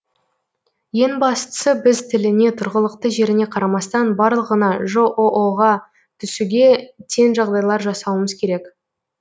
ең бастысы біз тіліне тұрғылықты жеріне қарамастан барлығына жоо ға түсуге тең жағдайлар жасауымыз керек